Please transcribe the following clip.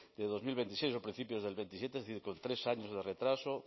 de dos mil veintiséis o principios del veintisiete es decir con tres años de retraso